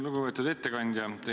Lugupeetud ettekandja!